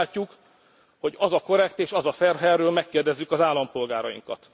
Mi úgy látjuk, hogy az a korrekt és az a fair, ha erről megkérdezzük az állampolgárainkat.